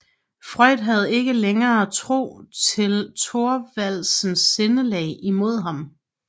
Freund havde ikke længer tro til Thorvaldsens sindelag imod ham